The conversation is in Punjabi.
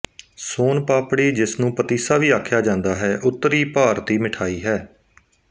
ਸੋਨ ਪਾਪੜੀ ਜਿਸਨੂੰ ਪਤੀਸਾ ਵੀ ਆਖਿਆ ਜਾਂਦਾ ਹੈ ਉੱਤਰੀ ਭਾਰਤੀ ਮਿਠਾਈ ਹੈ